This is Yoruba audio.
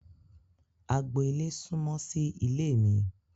Agbo-ile sunmọ sí ilé mi.